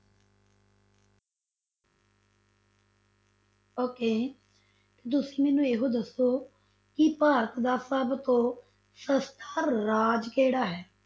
Okay ਤੇ ਤੁਸੀਂ ਮੈਨੂੰ ਇਹ ਦੱਸੋ ਕਿ ਭਾਰਤ ਦਾ ਸਭ ਤੋਂ ਸਸਤਾ ਰਾਜ ਕਿਹੜਾ ਹੈ?